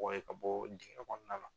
Bɔ yen ka bɔ dingɛ kɔnɔna la.